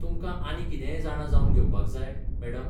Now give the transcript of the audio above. तुमकां आनी कितेंय जाणा जावन घेवपाक जाय, मॅडम?